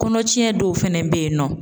Kɔnɔcɛn dɔw fɛnɛ be yen nɔ